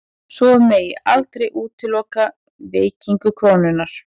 Svo megi aldrei útiloka veikingu krónunnar